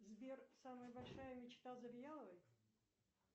сбер самая большая мечта завьяловой